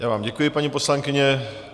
Já vám děkuji, paní poslankyně.